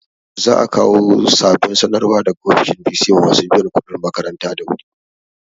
Za a kawo sabon sanarwa daga ofishin bc ma masu biyan kuɗin makaranta da wu ri